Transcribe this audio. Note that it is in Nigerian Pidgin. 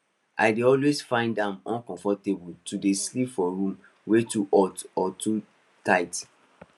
i dey always find am uncomfortable to dey sleep for room wey too hot or dey too tight